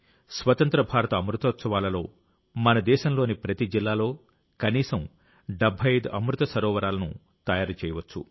స్వతంత్ర్య భారత అమృతోత్సవాల్లో మన దేశంలోని ప్రతి జిల్లాలో కనీసం 75 అమృత్ సరోవరాలను తయారు చేయవచ్చు